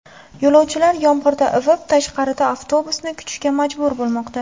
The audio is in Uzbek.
Yo‘lovchilar yomg‘irda ivib, tashqarida avtobusni kutishga majbur bo‘lmoqda.